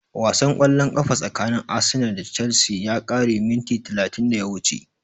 Wasan ƙwallon ƙafa tsakanin Arsenal da Chelsea ya ƙare minti talatin da ya wuce